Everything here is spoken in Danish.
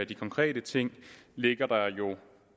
de konkrete ting ligger der jo